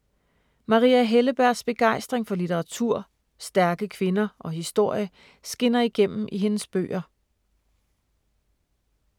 Maria Hellebergs begejstring for litteratur, stærke kvinder og historie skinner igennem i hendes bøger.